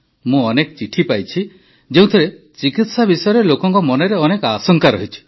ମୁଁ ଅନେକ ଚିଠି ପାଇଛି ଯେଉଁଥିରେ ଚିକିତ୍ସା ବିଷୟରେ ଲୋକଙ୍କ ମନରେ ଅନେକ ଆଶଙ୍କା ରହିଛି